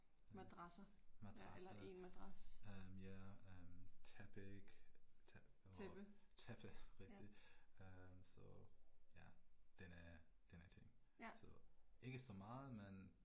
Madrasser, ja eller én madras. Tæppe, ja. Ja